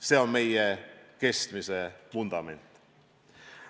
See on meie kestmise vundament.